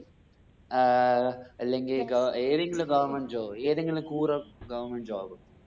ഏർ അല്ലെങ്കി ഗവ ഏതെങ്കിലും government job ഏതെങ്കിലും കൂറ goverment job